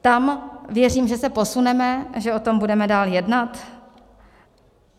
Tam věřím, že se posuneme, že o tom budeme dál jednat.